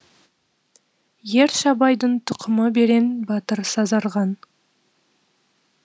ер шабайдың тұқымыберен батыр сазарған